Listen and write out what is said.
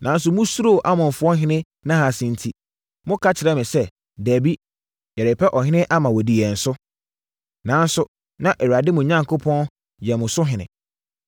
“Nanso, mosuroo Amonfoɔ ɔhene Nahas enti, moka kyerɛɛ me sɛ, ‘Dabi, yɛrepɛ ɔhene ama wadi yɛn so’—nanso na Awurade mo Onyankopɔn yɛ mo so ɔhene.